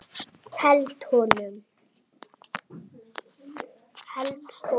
Held honum.